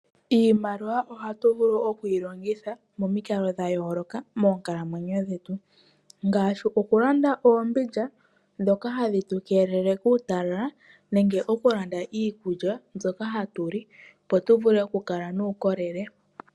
Iimaliwa ohatu vulu oku yi longitha momikalo dha yooloka moonkalamwenyo dhetu ngaashi okulanda oombindja ndhoka hadhi tu keelele kuutalala nenge okulanda iikulya mbyoka hatu li, opo tu vule okukala nuukolele.